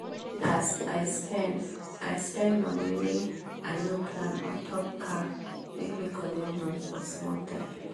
as i spend i spend money wey ino plan ontop car make me collect loan for small time